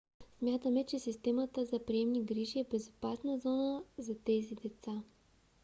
смятаме че системата за приемни грижи е безопасна зона за тези деца